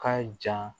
Ka jan